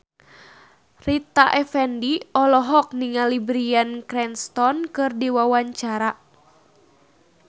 Rita Effendy olohok ningali Bryan Cranston keur diwawancara